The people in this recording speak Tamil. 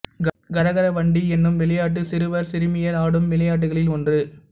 கரகர வண்டி என்னும் விளையாட்டு சிறுவர் சிறுமியர் ஆடும் விளையாட்டுகளில் ஒன்று